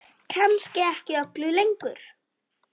Kannski ekki öllu lengur?